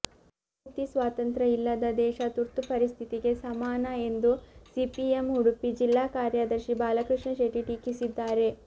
ಅಭಿವ್ಯಕ್ತಿ ಸ್ವಾತಂತ್ರ ಇಲ್ಲದ ದೇಶ ತುರ್ತು ಪರಿಸ್ಥಿತಿಗೆ ಸಮಾನ ಎಂದು ಸಿಪಿಎಂ ಉಡುಪಿ ಜಿಲ್ಲಾ ಕಾರ್ಯದರ್ಶಿ ಬಾಲಕೃಷ್ಣ ಶೆಟ್ಟಿ ಟೀಕಿಸಿದ್ದಾರೆ